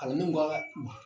Kalandenw